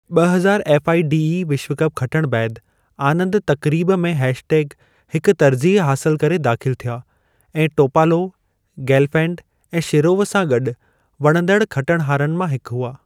ॿ हज़ार एफ़आइडीई विश्व कप खटणु बैदि, आनंद तक़रीबु में हेश टेग हिकु तरजीहु हासिलु करे दाखि़लु थिया ऐं टोपालोव, गेलफैंड ऐं शिरोव सां गॾु वणंदड़ु खटणहारनि मां हिकु हुआ।